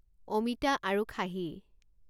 অমিতা আৰু খাহী